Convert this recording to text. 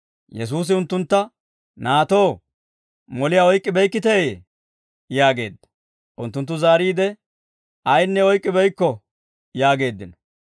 Yesuusi unttuntta, «Naatoo, moliyaa oyk'k'ibeykkiteeyye?» yaageedda. Unttunttu zaariide, «Ayinne oyk'k'ibeykko» yaageeddino.